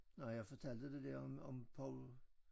Nej jeg fortalte det der om om Poul